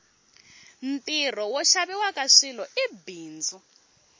ntirho wo xaviwaka swilo i bindzu